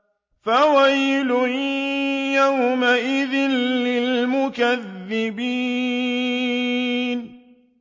فَوَيْلٌ يَوْمَئِذٍ لِّلْمُكَذِّبِينَ